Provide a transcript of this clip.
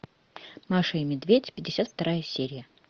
маша и медведь пятьдесят вторая серия